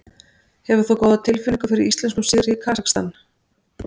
Hefur þú góða tilfinningu fyrir íslenskum sigri í Kasakstan?